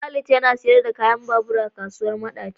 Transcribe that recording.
Khalid yana siyar da kayan babur a kasuwar madaci.